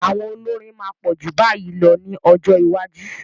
Àwọn olórin máa pọ̀ ju báyìí lọ ní ọjọ́ iwájú.